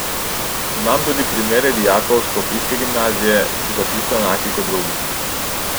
Imam tudi primere dijakov s škofijske gimnazije, ki so čisto enaki kot drugi.